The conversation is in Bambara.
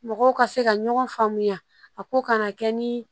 Mɔgɔw ka se ka ɲɔgɔn faamuya a ko kana kɛ ni